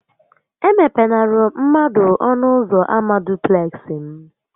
E mepenara mmadụ ọnụ ụzọ ama dupleksị m!